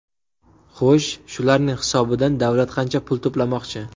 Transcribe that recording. Xo‘sh, shularning hisobidan davlat qancha pul to‘plamoqchi?